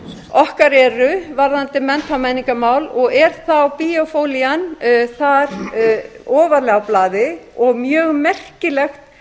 okkar eru varðandi mennta og menningarmál og er þá biophilian þar ofarlega á blaði og mjög merkilegt